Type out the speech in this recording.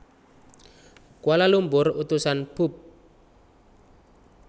Kuala Lumpur Utusan Pub